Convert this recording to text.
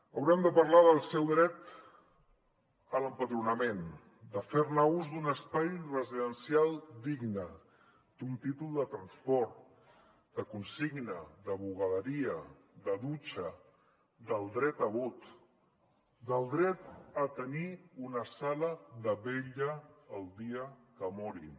haurem de parlar del seu dret a l’empadronament de fer ús d’un espai residencial digne d’un títol de transport de consigna de bugaderia de dutxa del dret a vot del dret a tenir una sala de vetlla el dia que morin